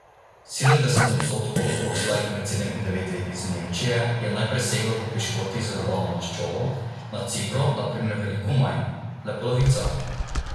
Sedemdeset odstotkov otrok starih med sedem in devet let iz Nemčije je najprej seglo po piškotih z dodano maščobo, na Cipru na primer veliko manj, le polovica.